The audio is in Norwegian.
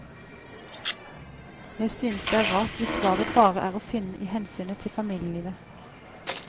Jeg synes det er rart hvis svaret bare er å finne i hensynet til familielivet.